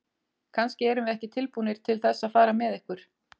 Kannski erum við ekki tilbúnir til þess að fara með ykkur.